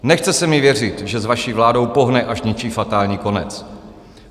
Nechce se mi věřit, že s vaší vládou pohne až něčí fatální konec.